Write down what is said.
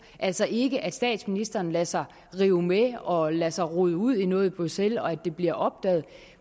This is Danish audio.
altså ikke det at statsministeren lader sig rive med og lader sig rode ud i noget i bruxelles og at det bliver opdaget